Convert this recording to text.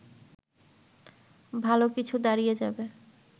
ভালো কিছু দাঁড়িয়ে যাবে